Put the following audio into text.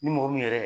Ni mɔgɔ min yɛrɛ